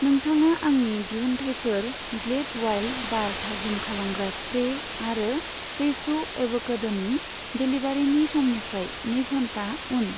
नोंथाङा आंनि दिहुनथाइफोर ग्लेड उवाइल्द बार थाजिम खालामग्रा स्प्रे आरो फ्रेश' एव'केड'नि डेलिबारिनि समनिफ्राय नै घन्टा उन।